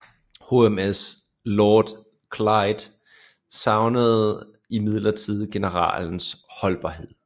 HMS Lord Clyde savnede imidlertid generalens holdbarhed